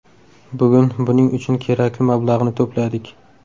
Bugun buning uchun kerakli mablag‘ni to‘pladik.